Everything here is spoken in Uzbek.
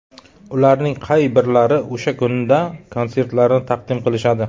Ularning qay birlari o‘sha kunda konsertlarini taqdim qilishadi ?